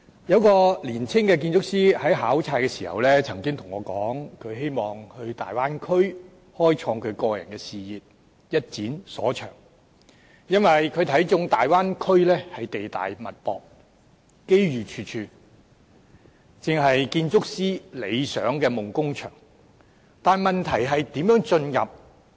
有一個年輕的建築師在考察時曾經向我說，他希望到大灣區開創個人事業，一展所長，因為他看中大灣區地大物博、機遇處處，正是建築師理想的夢工場，但問題是如何進入？